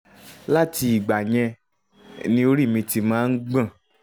láti ìgbà yẹn ni orí mi ti máa ń gbọ̀n